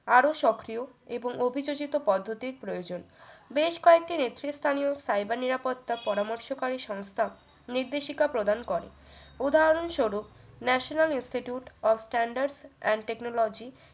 আরো সক্রিয় এবং অভিযোজিত পদ্ধতির প্রয়োজন বেশ কয়েকটি নেতৃস্থানীয় cyber নিরাপত্তা পরামর্শকারী সংস্থার নির্দেশিকা প্রদান করে উদাহরণস্বরূপ national institute of standard and technology